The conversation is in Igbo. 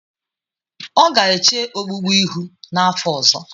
Ọ ga-eche ogbugbu ihu n'afọ ọzọ.